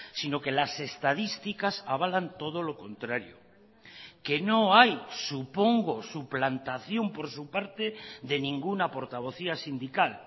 sino que las estadísticas avalan todo lo contrario que no hay supongo suplantación por su parte de ninguna portavocía sindical